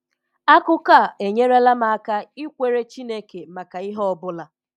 Akụkọ a enyerela m aka ikwere chineke maka ihe ọ bụla